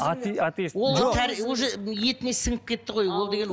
атесит ол уже етіне сіңіп кетті ғой ол деген